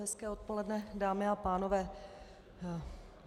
Hezké odpoledne, dámy a pánové.